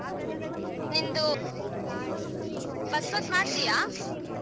ನಿಂದು bus pass ಮಾಡಸಿಯ.